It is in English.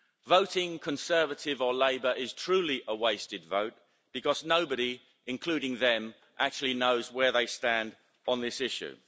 Voting Conservative or Labour is truly a wasted vote because nobody, including them, actually knows where they stand on this issue.